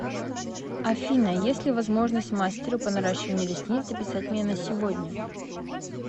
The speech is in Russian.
афина есть ли возможность мастеру по наращиванию ресниц записать меня на сегодня